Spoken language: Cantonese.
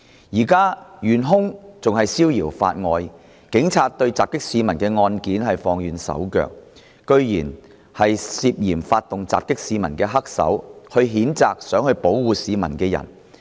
"現時，元兇仍然逍遙法外，警察對襲擊市民的案件放軟手腳，竟然是涉嫌發動襲擊市民的黑手譴責想保護市民的人。